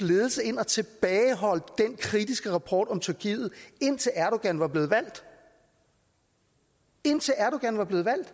ledelse ind og tilbageholdt den kritiske rapport om tyrkiet indtil erdogan var blevet valgt indtil erdogan var blevet valgt